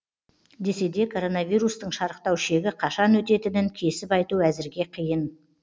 десе де коронавирустың шарықтау шегі қашан өтетінін кесіп айту әзірге қиын